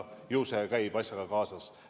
Ju see käib asjaga kaasas.